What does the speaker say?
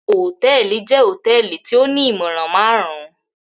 Hotẹẹli jẹ hotẹẹli ti o ni imọran marun-un.